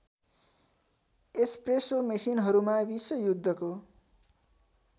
espresso मेसिनहरूमा विश्वयुद्धको